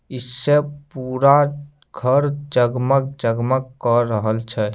इससे पूरा घर जगमग-जगमग केर रहल छै।